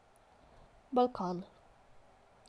Balkan.